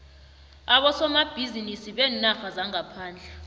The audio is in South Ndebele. abosomabhizinisi beenarha zangaphandle